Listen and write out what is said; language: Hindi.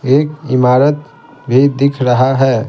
एक इमारत भी दिख रहा है ।